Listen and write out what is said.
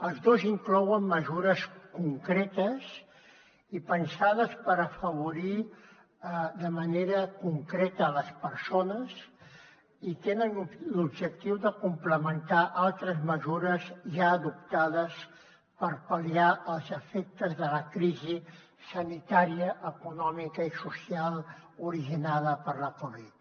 els dos inclouen mesures concretes i pensades per afavorir de manera concreta les persones i tenen l’objectiu de complementar altres mesures ja adoptades per pal·liar els efectes de la crisi sanitària econòmica i social originada per la covid